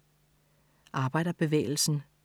Arbejderbevægelsen